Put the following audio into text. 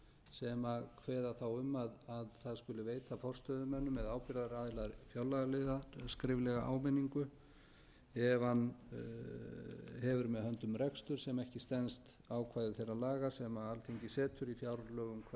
sem kveða þá á um að það skuli veita forstöðumönnum eða ábyrgðaraðila fjárlagaliða skriflega áminningu ef hann hefur með höndum rekstur sem ekki stenst ákvæði þeirra laga sem alþingis setur